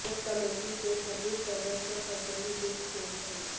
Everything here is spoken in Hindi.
उस कमेटी के सभी सदस्य पटेल गुट के हैं